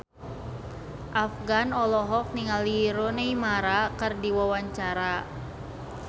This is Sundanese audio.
Afgan olohok ningali Rooney Mara keur diwawancara